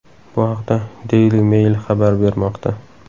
Bu haqda Daily Mail xabar bermoqda .